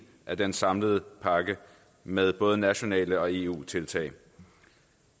af den samlede pakke med både nationale og eu tiltag